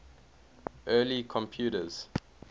early computers